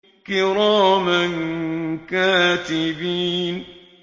كِرَامًا كَاتِبِينَ